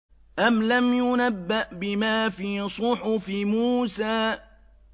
أَمْ لَمْ يُنَبَّأْ بِمَا فِي صُحُفِ مُوسَىٰ